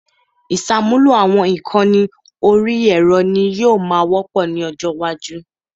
Ìṣàmúlò àwọn ìkànnì orí ẹ̀rọ ni yóò máa wọ́pọ̀ ní ọjọ́ iwájú